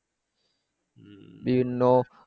বিভিন্ন।